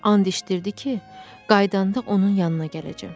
And içdirdi ki, qayıdanda onun yanına gələcəm.